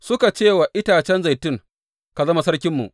Suka ce wa itacen zaitun, Ka zama sarkinmu.’